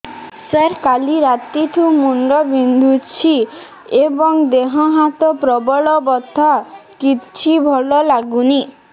ସାର କାଲି ରାତିଠୁ ମୁଣ୍ଡ ବିନ୍ଧୁଛି ଏବଂ ଦେହ ହାତ ପ୍ରବଳ ବଥା କିଛି ଭଲ ଲାଗୁନି